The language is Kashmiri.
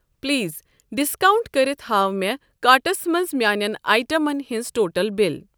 پلیز ڈسکاونٹ کٔرِتھ ہاو مےٚ کارٹس منٛز میانٮ۪ن آیٹمَن ہٕنٛز ٹوٹل بِل۔